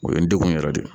O ye n degun yɛrɛ de